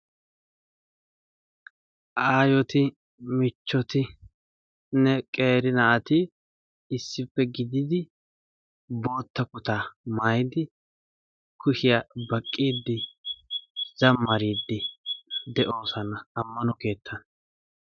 Aayoti, michchotinne qeeri naati issippe gididi bootta kutaa maayidi kushiya baqqiiddi zammariiddi de'oosona ammano keettan.